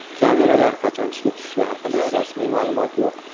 Kameralar qachon ishga tushishi haqida rasmiy ma’lumot yo‘q.